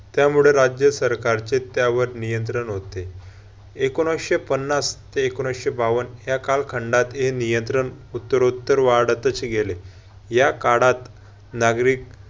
त्यामुळे राज्य सरकारचे त्यावर नियंत्रण होते. एकोणीशे पन्नास ते एकोणीशे बावन्न या कालखंडात हे नियंत्रण उत्तरोत्तर वाढतच गेले. या काळात नागरिक